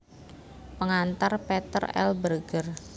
Pengantar Peter L Berger